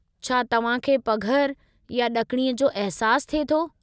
छा तव्हां खे पघर या ॾकिणी जो अहिसासु थिए थो?